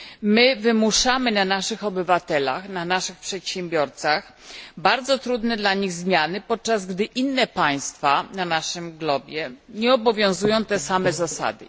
My wymuszamy na naszych obywatelach, na naszych przedsiębiorcach bardzo trudne dla nich zmiany, podczas gdy innych państw na naszym globie nie obowiązują te same zasady.